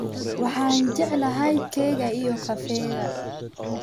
Waxaan jeclahay keega iyo kafeega